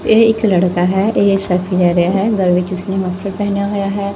ਇਹ ਇੱਕ ਲੜਕਾ ਹੈ ਇਹ ਸਲਫੀ ਲੈ ਰਿਹਾ ਹੈ ਗਲ ਵਿੱਚ ਉਸਨੇ ਮਫਲਰ ਪਹਿਨਿਆ ਹੋਇਆ ਹੈ।